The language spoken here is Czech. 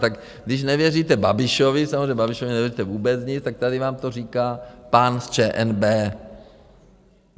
Tak když nevěříte Babišovi, samozřejmě Babišovi nevěřte vůbec nic, tak tady vám to říká pán z ČNB.